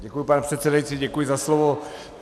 Děkuju, pane předsedající, děkuju za slovo.